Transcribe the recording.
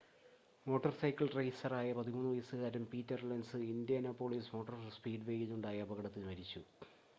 motor cycle റെയിസറായ 13 വയസ്സുകാരൻ Peter Lenz Indianapolis motor സ്പീഡ്‌വേയിൽ ഉണ്ടായ അപകടത്തിൽ മരിച്ചു